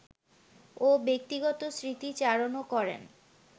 ও ব্যক্তিগত স্মৃতিচারণও করেন